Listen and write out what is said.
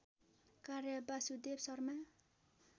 कार्य वासुदेव शर्मा